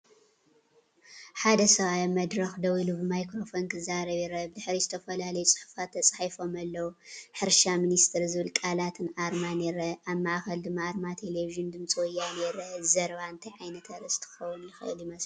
ሓደ ሰብኣይ ኣብ መድረኽ ደው ኢሉ ብማይክሮፎን ክዛረብ ይርአ። ብድሕሪት ዝተፈላለዩ ጽሑፋት ተጻሒፎም ኣለው፣ “ሕርሻ ሚኒስትሪ” ዝብል ቃላትን ኣርማን ይርአ። ኣብ ማእከል ድማ ኣርማ ቴሌቪዥን “ድምፂ ወያነ” ይርአ። እዚ ዘረባ እንታይ ዓይነት ኣርእስቲ ክኸውን ይኽእል ይመስለኩም?